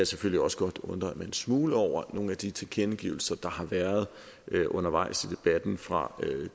selvfølgelig også godt undre mig en smule over nogle af de tilkendegivelser der har været undervejs i debatten fra